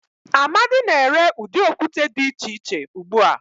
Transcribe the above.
Amadi na-ere udi okute di iche iche ugbua.